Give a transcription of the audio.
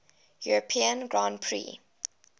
european grand prix